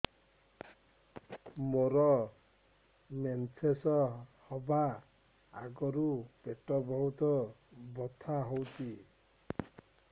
ମୋର ମେନ୍ସେସ ହବା ଆଗରୁ ପେଟ ବହୁତ ବଥା ହଉଚି